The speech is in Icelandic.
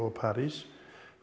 og París